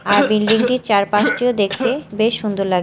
আর building -টির চারপাশটিও দেখতে বেশ সুন্দর লাগ--